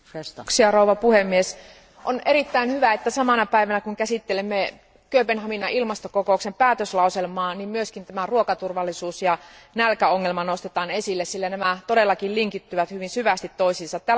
Arvoisa puhemies, on erittäin hyvä, että samana päivänä, kun käsittelemme Kööpenhaminan ilmastokokouksen päätöslauselmaa, myös ruokaturvallisuus ja nälkäongelma nostetaan esille, sillä nämä asiat linkittyvät hyvin syvästi toisiinsa.